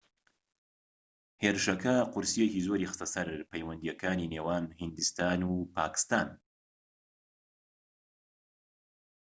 هێرشەکە قورسییەکی زۆری خستە سەر پەیوەندیەکانی نێوان هیندستان و پاکستان